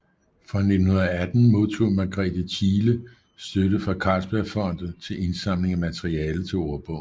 Fra 1918 modtog Margrethe Thiele støtte fra Carlsbergfondet til indsamling af materiale til ordbogen